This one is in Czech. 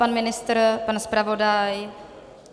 Pan ministr, pan zpravodaj?